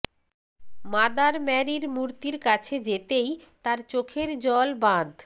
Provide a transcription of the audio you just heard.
mother ম্যারির মূর্তির কাছে যেতেই তার চোখের জল বাঁধ